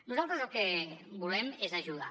nosaltres el que volem és ajudar